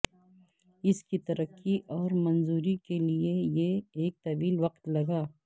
اس کی ترقی اور منظوری کے لئے یہ ایک طویل وقت لگا